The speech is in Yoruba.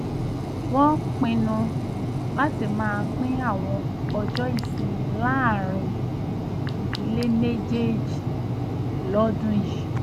wọ́n pinnu láti máa pín àwọn ọjọ́ ìsinmi láàárín ìdílé méjèèjì lọ́dún yìí